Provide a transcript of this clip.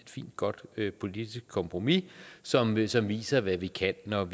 godt politisk kompromis som viser viser hvad vi kan når